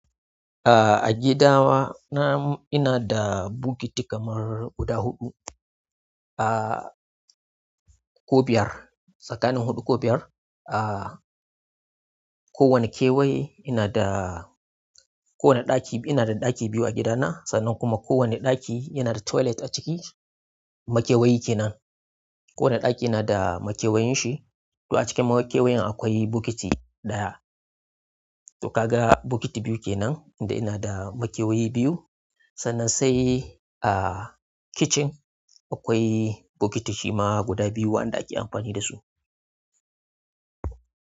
A, a gidana ina da bokiti kamar guda huɗu, a, ko biyar, tsakanin huɗu ko biyar. A, kowane kewaye ina da, kowane ɗaki ina da ɗaki biyu a gidana, sannan kuma kowane ɗaki yana da toilet a ciki. Makewayi kenan. Kowane ɗaki yana da makewayin shi. To a cikin makewayoyin akwai bokiti ɗaya. To ka ga bokiti biyu kenan tunda ina da makewayi biyu. Sannan sai, ah kicin, akwai bokiti shima guda biyu wa'anda ake amfani dashi.